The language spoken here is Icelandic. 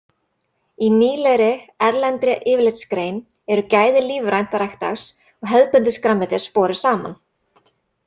Í nýlegri erlendri yfirlitsgrein eru gæði lífrænt ræktaðs og hefðbundins grænmetis borin saman.